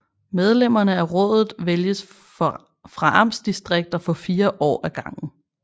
Medlemmerne af rådet vælges fra amtsdistrikter for fire år ad gangen